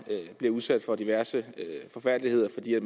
bliver udsat for diverse forfærdeligheder fordi vi